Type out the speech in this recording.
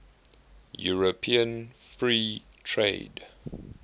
european free trade